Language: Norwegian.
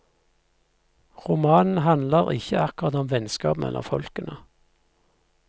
Romanen handler ikke akkurat om vennskap mellom folkene.